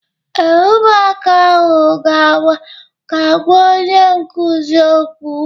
Ee, ụmụaka ahụ ga-agwa onye nkụzi okwu.